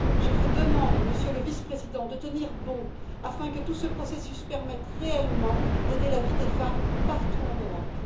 Je vous demande, Monsieur le Vice Président, de tenir bon afin que tout ce processus permette réellement d'aider la vie des femmes partout en Europe.